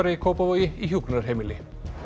í Kópavogi í hjúkrunarheimili